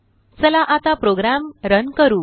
चला आता program run करू